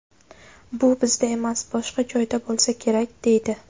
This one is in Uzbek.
Bu bizda emas, boshqa joyda bo‘lsa kerak, deydi.